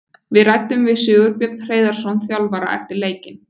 Við ræddum við Sigurbjörn Hreiðarsson þjálfara eftir leikinn.